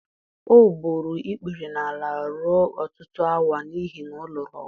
o gburu ikpere n’ala ruo ọtụtụ awa n’ihi na ọ lụrụ ọgụ.